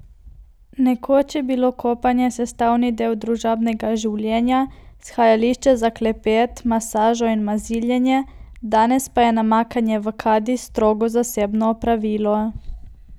Nekoč je bilo kopanje sestavni del družabnega življenja, shajališče za klepet, masažo in maziljenje, danes pa je namakanje v kadi strogo zasebno opravilo.